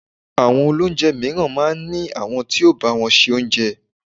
Àwọn olóúnjẹ mìíràn máa ń ní àwọn tí ó ń bá wọn se Oúnjẹ.